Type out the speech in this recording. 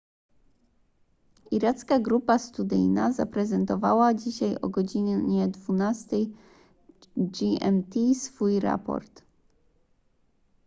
iracka grupa studyjna zaprezentowała dzisiaj o godz 12:00 gmt swój raport